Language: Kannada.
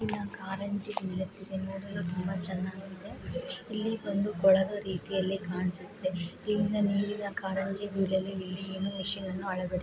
ಕಾರಂಜಿ ತುಂಬಾ ಚೆನ್ನಾಗಿದೆ. ಇಲ್ಲಿ ಬಂದು ಕೊಳದ ರೀತಿಯಲ್ಲಿ ಕಾಣ್ಸುತ್ತೆ ಇಲ್ಲಿಂದ ನೀರಿನ ಕಾರಂಜಿ